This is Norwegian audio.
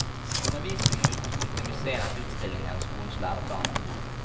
Undervisning med utgangspunkt i museenes utstillinger og skolens læreplaner.